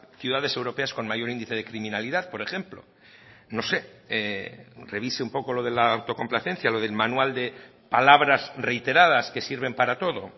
ciudades europeas con mayor índice de criminalidad por ejemplo no sé revise un poco lo de la autocomplacencia lo del manual de palabras reiteradas que sirven para todo